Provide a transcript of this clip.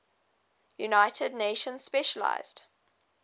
united nations specialized